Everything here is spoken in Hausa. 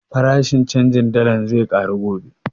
Farashin canjin dallar zai ƙaru gobe